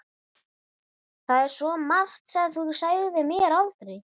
Það er svo margt sem þú sagðir mér aldrei.